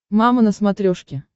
мама на смотрешке